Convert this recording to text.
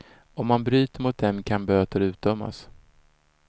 Om man bryter mot dem kan böter utdömas.